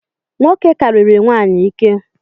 Nwoke kariri nwanyi ike